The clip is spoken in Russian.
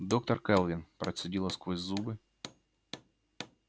доктор кэлвин процедила сквозь зубы